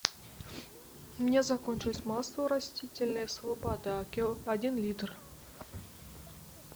у меня закончилось масло растительное слобода один литр